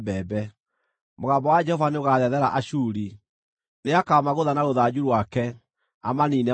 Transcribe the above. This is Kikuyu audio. Mũgambo wa Jehova nĩũgathethera Ashuri; nĩakamagũtha na rũthanju rwake, amaniine magũe.